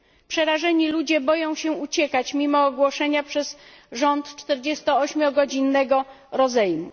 Przerażeni ludzie boją się uciekać mimo ogłoszenia przez rząd czterdziestoośmiogodzinnego rozejmu.